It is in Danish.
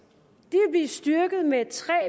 vil blive styrket med tre